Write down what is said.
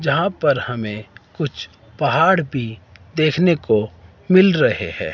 जहां पर हमें कुछ पहाड़ भी देखने को मिल रहे हैं।